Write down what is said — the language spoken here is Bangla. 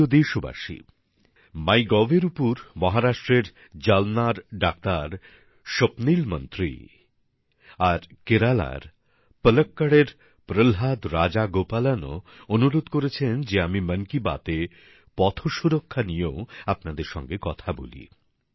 আমার প্রিয় দেশবাসী মাই গভ এর উপর মহারাষ্ট্রের জালনার ডাক্তার স্বপ্নীল মন্ত্রী আর কেরালার পলক্কড়ে প্রহ্লাদ রাজগোপালনও অনুরোধ করেছেন যে আমি মন কি বাত এ পথসুরক্ষা নিয়েও আপনাদের সঙ্গে কথা বলি